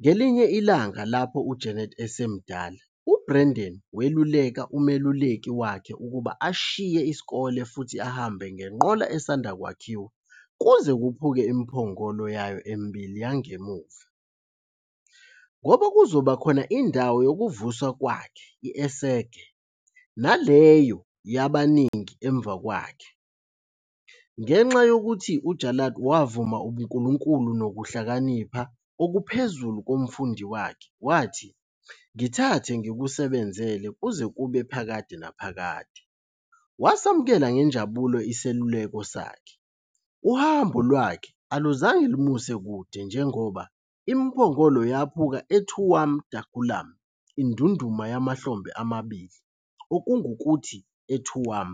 Ngelinye ilanga, lapho uJarlath esemdala, uBrendan weluleka umeluleki wakhe ukuba ashiye isikole futhi ahambe ngenqola esanda kwakhiwa kuze "kuphuluke imiphongolo" yayo emibili yangemuva, ngoba kuzoba khona indawo yokuvuswa kwakhe, esséirge, naleyo yabaningi emva kwakhe. Ngenxa yokuthi uJarlath wavuma ubuNkulunkulu nokuhlakanipha okuphezulu komfundi wakhe, wathi "ngithathe ngikusebenzele kuze kube phakade naphakade", wasamukela ngenjabulo iseluleko sakhe. Uhambo lwakhe aluzange lumuse kude kakhulu, njengoba "imiphongolo yaphuka eTuaim da Ghualann", "Indunduma yamahlombe amabili", okungukuthi, eTuam.